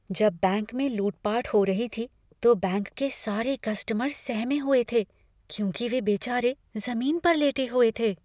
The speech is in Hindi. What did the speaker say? जब बैंक में लूटपाट हो रही थी तो बैंक के सारे कस्टमर सहमे हुए थे, क्योंकि वे बेचारे ज़मीन पर लेटे हुए थे।